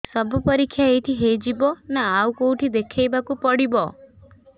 ସବୁ ପରୀକ୍ଷା ଏଇଠି ହେଇଯିବ ନା ଆଉ କଉଠି ଦେଖେଇ ବାକୁ ପଡ଼ିବ